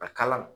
A kala